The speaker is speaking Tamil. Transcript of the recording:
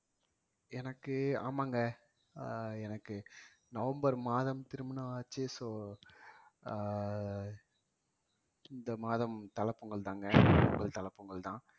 எனக்கு ஆமாங்க அஹ் எனக்கு நவம்பர் மாதம் திருமணம் ஆச்சு so ஆ இந்த மாதம் தல பொங்கல்தாங்க தல பொங்கல்தான்